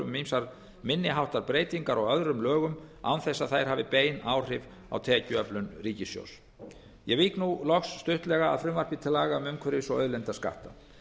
um ýmsar minni háttar breytingar á öðrum lögum án þess að þær hafi bein áhrif á tekjuöflun ríkissjóðs ég vík nú loks stuttlega að frumvarpi til laga um umhverfis og auðlindaskatta